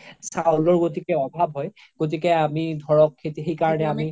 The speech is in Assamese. চাউলৰ গ্তিকে অভাৱ হয় গ্তিকে আমি ধৰক সেইকাৰনে আমি